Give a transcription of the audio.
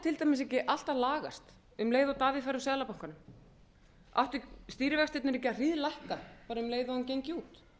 til dæmis ekki allt að lagast um leið og davíð færi úr seðlabankanum áttu stýrivextirnir ekki að hríðlækka bara um leið og hann gengi út